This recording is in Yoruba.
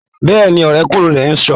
Bẹ́ẹ̀ni, ọ̀rẹ́kúnrin rẹ̀ ń ṣọ.